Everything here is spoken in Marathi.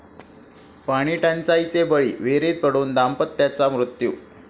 पाणीटंचाईचे बळी, विहिरीत पडून दाम्पत्याचा मृत्यू